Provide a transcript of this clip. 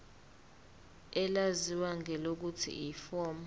elaziwa ngelokuthi yiform